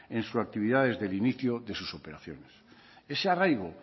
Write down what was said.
en su actividad del inicio de sus operaciones ese arraigo